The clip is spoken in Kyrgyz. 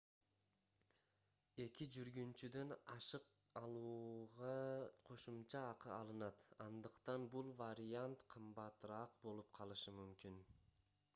2 жүргүнчүдөн ашык алууга кошумча акы алынат андыктан бул вариант кымбатыраак болуп калышы мүмкүн